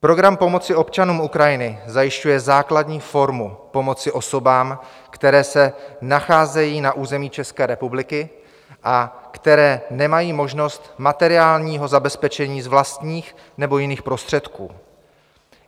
Program pomoci občanům Ukrajiny zajišťuje základní formu pomoci osobám, které se nacházejí na území České republiky a které nemají možnost materiálního zabezpečení z vlastních nebo jiných prostředků.